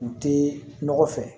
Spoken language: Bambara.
U tɛ nɔgɔ fɛ